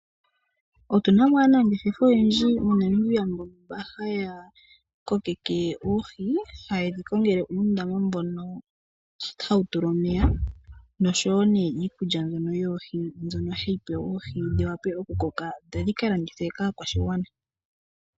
Otuna mo aanangeshefa oyendji moNomibia mba haya kokeke oohi. Haye dhi kongele uundama mbono hawu tulwa omeya nosho wo nee iikulya mbyonyoohi mbyono hayi pewa oohidhi wa pe okukoka dho dhi ka landithwe kaakwashigwana.